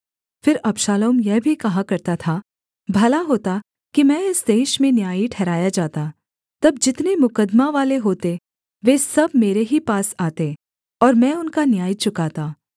फिर अबशालोम यह भी कहा करता था भला होता कि मैं इस देश में न्यायी ठहराया जाता तब जितने मुकद्दमा वाले होते वे सब मेरे ही पास आते और मैं उनका न्याय चुकाता